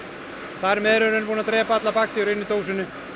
þar með erum við búin að drepa allar bakteríur inni í dósinni